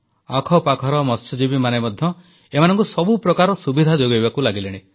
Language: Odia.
ଆଖପାଖର ମତ୍ସ୍ୟଜୀବୀମାନେ ମଧ୍ୟ ଏମାନଙ୍କୁ ସବୁ ପ୍ରକାର ସୁବିଧା ଯୋଗାଇବାକୁ ଲାଗିଲେଣି